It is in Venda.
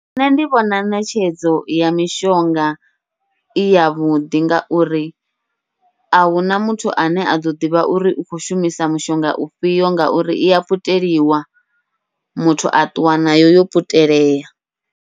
Nṋe ndi vhona ṋetshedzo ya mishonga iya vhuḓi, ngauri ahuna muthu ane aḓo ḓivha uri u khou shumisa mushonga ufhio, ngauri iya puteliwa muthu a ṱuwa nayo yo puteleya.